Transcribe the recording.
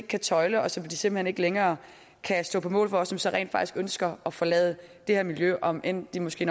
kan tøjle og som de simpelt hen ikke længere kan stå på mål for og som så rent faktisk ønsker at forlade det her miljø om end de måske